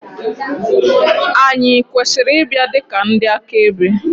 Ànyị kwesịrị ịbịa dị ka ndị akaebe?